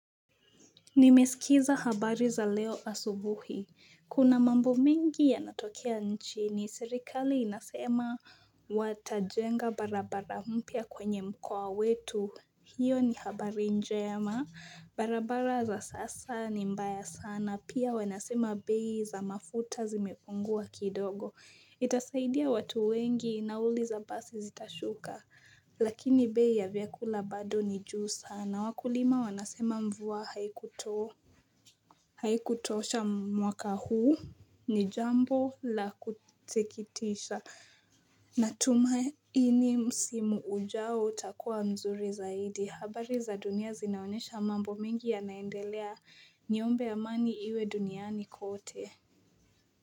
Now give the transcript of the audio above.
Nimesikiza habari za leo asubuhi. Kuna mambo mingi yanatokea nchini, serikali inasema watajenga barabara mpya kwenye mkoa wetu. Hiyo ni habari njema. Barabara za sasa ni mbaya sana. Pia wanasema bei za mafuta zimepungua kidogo. Itasaidia watu wengi nauli za basi zitashuka lakini bei ya vyakula bado ni juu sana, wakulima wanasema mvua haikutosha mwaka huu ni jambo la kusikitisha Natumaini msimu ujao utakuwa mzuri zaidi, habari za dunia zinaonyesha mambo mengi yanaendelea niombe amani iwe duniani kote.